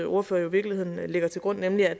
ordfører jo i virkeligheden lægger til grund nemlig at